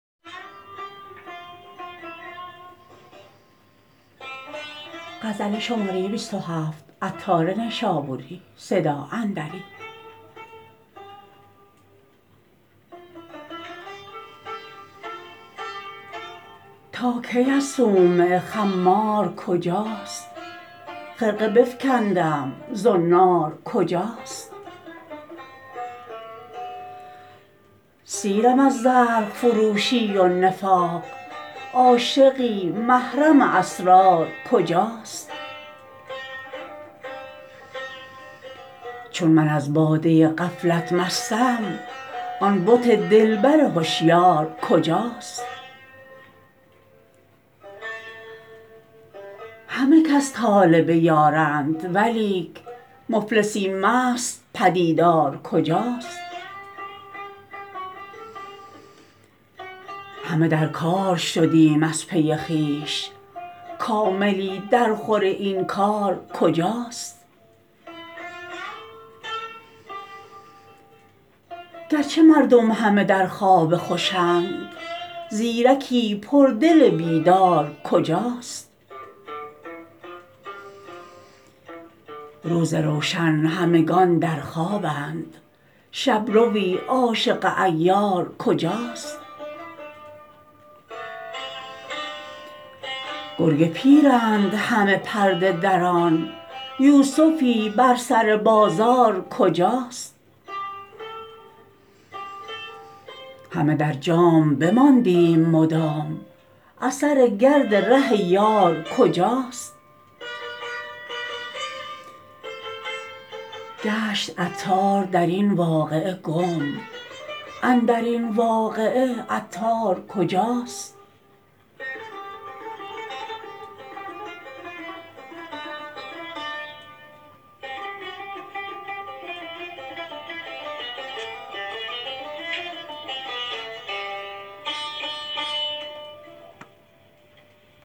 تا کی از صومعه خمار کجاست خرقه بفکندم زنار کجاست سیرم از زرق فروشی و نفاق عاشقی محرم اسرار کجاست چون من از باده غفلت مستم آن بت دلبر هشیار کجاست همه کس طالب یارند ولیک مفلسی مست پدیدار کجاست همه در کار شدیم از پی خویش کاملی در خور این کار کجاست گرچه مردم همه در خواب خوشند زیرکی پر دل بیدار کجاست روز روشن همگان در خوابند شبروی عاشق عیار کجاست گر گ پیرند همه پرده دران یوسفی بر سر بازار کجاست همه در جام بماندیم مدام اثر گرد ره یار کجاست گشت عطار در این واقعه گم اندرین واقعه عطار کجاست